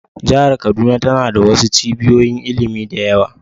Jihar kaduna tana da wasu cibiyoyin ilimi da yawa